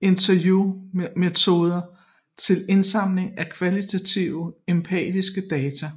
interviewmetode til indsamling af kvalitativ empirisk data